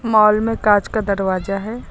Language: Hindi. मॉल में कांच का दरवाजा है।